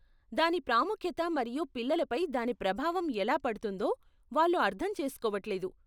దాని ప్రాముఖ్యత మరియు పిల్లల పై దాని ప్రభావం ఎలా పడుతుందో వాళ్లు అర్థం చేసుకోవట్లేదు.